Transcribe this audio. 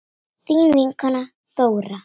Þín vinkona Þóra.